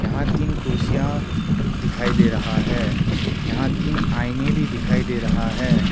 यहां तीन कुर्सियां दिखाई दे रहा है यहां तीन आईने भी दिखाई दे रहा है।